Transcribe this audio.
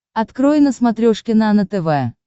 открой на смотрешке нано тв